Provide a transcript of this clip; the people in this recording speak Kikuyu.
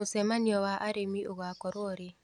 Mũcemanio wa arĩmi ũgakorwo rĩ.